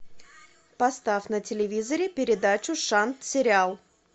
поставь на телевизоре передачу шан сериал